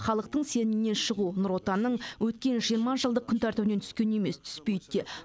халықтың сенімінен шығу нұр отанның өткен жиырма жылдық күн тәртібінен түскен емес түспейді де